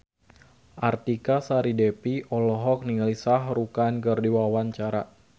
Artika Sari Devi olohok ningali Shah Rukh Khan keur diwawancara